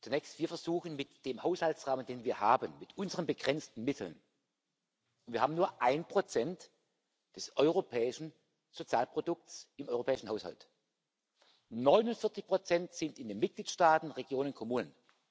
Zunächst Wir versuchen, mit dem Haushaltsrahmen, den wir haben, zu helfen, mit unseren begrenzten Mitteln wir haben nur 1 des europäischen Sozialprodukts im europäischen Haushalt, 49 sind in den Mitgliedstaaten, Regionen und Kommunen.